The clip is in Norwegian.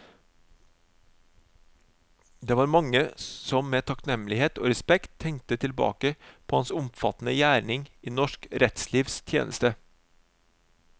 Det var mange som med takknemlighet og respekt tenkte tilbake på hans omfattende gjerning i norsk rettslivs tjeneste.